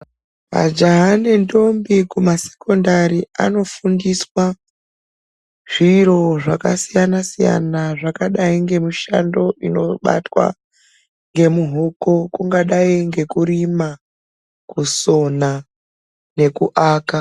Majaha nendombi kumasekondari anofundiswa ,zviro zvakasiyana-siyana, zvakadai ngemishando inobatwa ngemuhuku, kungadai ngekurima, kusona nekuaka.